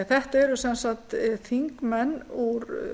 þetta eru sem sagt þingmenn úr